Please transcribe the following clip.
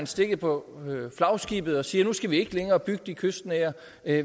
stikke på flagskibet og sige at nu skal vi ikke længere bygge de kystnære